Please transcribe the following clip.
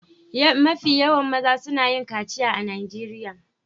Mafi yawan mazan suna yin kaciya a Najeriya.